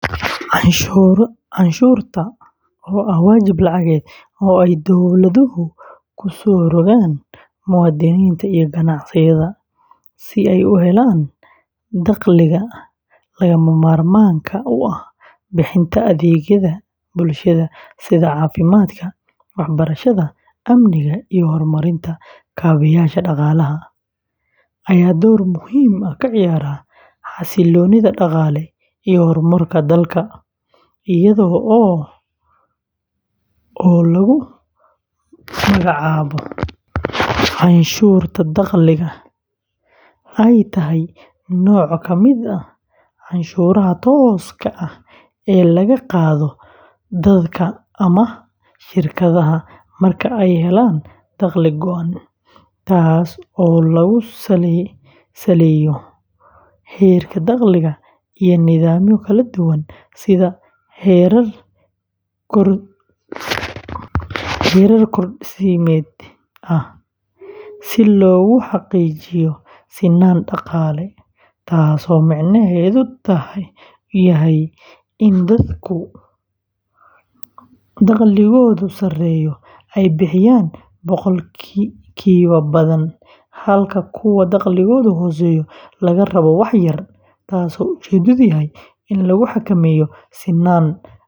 Canshuurta, oo ah waajib lacageed oo ay dowladuhu ku soo rogaan muwaadiniinta iyo ganacsiyada, si ay u helaan dakhliga lagama maarmaanka u ah bixinta adeegyada bulshada sida caafimaadka, waxbarashada, amniga, iyo horumarinta kaabeyaasha dhaqaalaha, ayaa door muhiim ah ka ciyaarta xasiloonida dhaqaale iyo horumarka dalka, iyadoo ama canshuurta dakhliga, ay tahay nooc ka mid ah canshuuraha tooska ah ee laga qaado dadka ama shirkadaha marka ay helaan dakhli go'an, taas oo lagu saleeyo heerka dakhliga iyo nidaamyo kala duwan sida heerar korodhsiimeed ah si loogu xaqiijiyo sinaan dhaqaale, taasoo micnaheedu yahay in dadka dakhligoodu sareeyo ay bixiyaan boqolkiiba badan, halka kuwa dakhligoodu hooseeyo laga rabo wax yar, taas oo ujeedkeedu yahay in lagu xakameeyo.